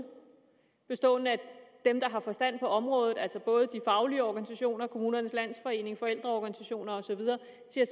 bestående af dem der har forstand på området altså både de faglige organisationer kommunernes landsforening forældreorganisationer og så videre